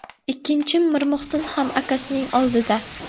Ikkinchim Mirmuhsin ham akasining oldida.